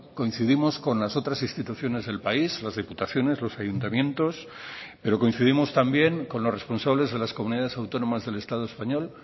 coincidimos con las otras instituciones del país las diputaciones los ayuntamientos pero coincidimos también con los responsables de las comunidades autónomas del estado español